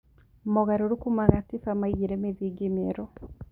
Mogarũrũku ma gatiba maigire mĩthingi mĩerũ.